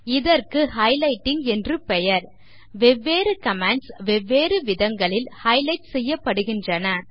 இதற்கு ஹைலைட்டிங் என்று பெயர் வெவ்வேறு கமாண்ட்ஸ் வெவ்வேறு விதங்களில் ஹைலைட் செய்யப்படுகின்றன